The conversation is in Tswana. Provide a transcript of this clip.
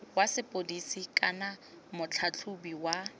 wa sepodisi kana motlhatlhobi wa